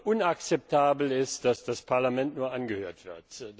Inakzeptabel ist, dass das Parlament nur angehört wird.